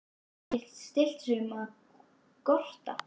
En hann gat ekki stillt sig um að gorta.